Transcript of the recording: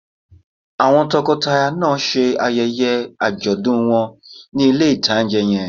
Àwọn tọkọtaya náà ṣe ayẹyẹ àjọ̀dún wọn ní ilé-ìtánjẹ yẹn